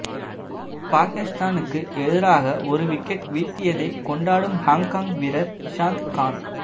பாகிஸ்தானுக்கு எதிராக ஒரு விக்கெட் வீழ்தியதை கொண்டாடும் ஹாங்காங் வீரர் இஷாந்த் கான்